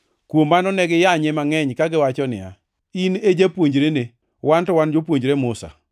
Kuom mano, ne giyanye mangʼeny kagiwacho niya, “In e japuonjrene! Wan to wan jopuonjre Musa.